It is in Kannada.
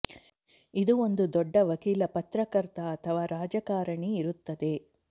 ಇದು ಒಂದು ದೊಡ್ಡ ವಕೀಲ ಪತ್ರಕರ್ತ ಅಥವಾ ರಾಜಕಾರಣಿ ಇರುತ್ತದೆ